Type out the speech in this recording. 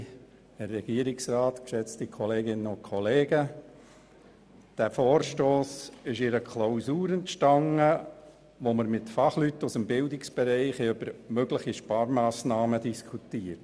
Dieser Vorstoss entstand im Rahmen einer Klausur, bei der wir mit Fachleuten aus dem Bildungsbereich über mögliche Sparmassnahmen diskutiert haben.